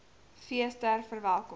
fees ter verwelkoming